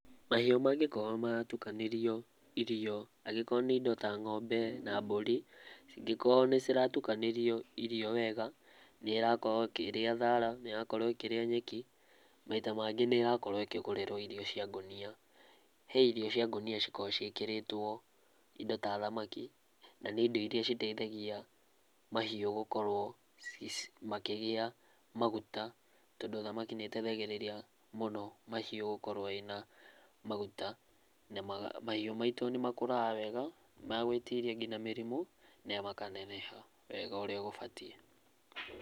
Mahiũ mangĩkorwo maratukanĩrio irio, angĩkorwo nĩ indo ta ng'ombe na mbũri cingĩkorwo nĩ ciratukanĩrio irio wega nĩ ĩrakorwo ĩkĩria thara nĩrakorwo ĩkĩria nyeki maita mangĩ nĩ ĩrakorwo ĩkĩgũrĩrwo irio cia ngũnia, he irio cia ngũnia cikoragwo ciĩkĩritwo indo ta thamaki na nĩ indo ĩrĩa citeithagia mahiũ gũkorwo makĩgĩa maguta tondũ thamaki nĩ iteithagĩrĩria mũno mahiũ gũkorwo mena magũta na mahiũ maitũ nĩmakũraga wega magũitĩria ngĩnya mĩrimũ na makaneneha wega ũrĩa gũbatiĩ.